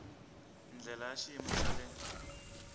ndlela ya xiyimo xa le